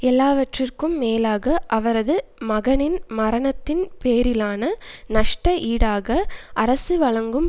எல்லாவற்றுக்கும் மேலாக அவரது மகனின் மரணத்தின் பேரிலான நஷ்ட ஈடாக அரசு வழங்கும்